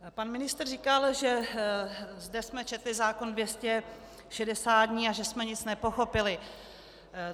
Pan ministr říkal, že zde jsme četli zákon 260 dní a že jsme nic nepochopili.